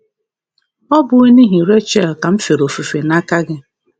Ọ bụghị n’ihi Rechel ka m fere ofufe n’aka gị?